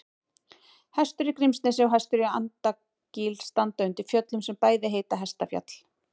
Hestur í Grímsnesi og Hestur í Andakíl standa undir fjöllum sem bæði heita Hestfjall.